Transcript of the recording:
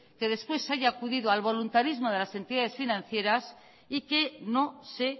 que después se haya acudido al voluntarismo de las entidades financieras y que no se